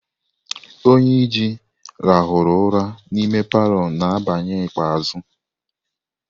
Onyeji rahuru ura n'ime palọ na abali ikpeazu.